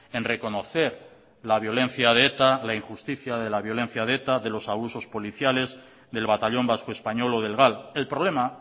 en reconocer la violencia de eta la injusticia de la violencia de eta de los abusos policiales del batallón vasco español o del gal el problema